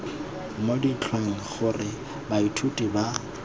mo ditlhangweng gore baithuti ba